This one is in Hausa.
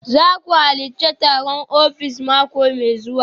Za ku halarci taron ofis mako mai zuwa